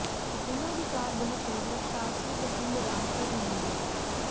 ਉਨ੍ਹਾਂ ਦੀ ਕਾਰ ਬਹੁਤ ਤੇਜ਼ ਰਫ਼ਤਾਰ ਸੀ ਤੇ ਪਿੰਡ ਰਾਮਪੁਰ ਨੇੜੇ